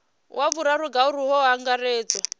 wa vhuraru ngauri hu angaredzwa